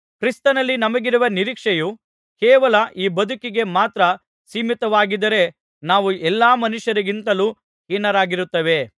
ಕ್ರಿಸ್ತನಲ್ಲಿ ನಮಗಿರುವ ನಿರೀಕ್ಷೆಯು ಕೇವಲ ಈ ಬದುಕಿಗೆ ಮಾತ್ರ ಸೀಮಿತವಾಗಿದ್ದರೆ ನಾವು ಎಲ್ಲಾ ಮನುಷ್ಯರಿಗಿಂತಲೂ ಹೀನರಾಗುತ್ತೇವೆ